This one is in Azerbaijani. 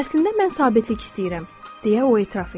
Əslində mən sabitlik istəyirəm, deyə o etiraf etdi.